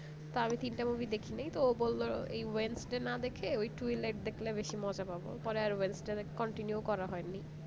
তা আমি তিনটা movie দেখিনাই তো ও বললো এই wednesday না দেখে ওই একটু twilight দেখলে বেশি মজা পাবো পরে আর continue করা হয়নি